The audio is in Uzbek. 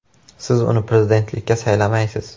Siz uni prezidentlikka saylamaysiz.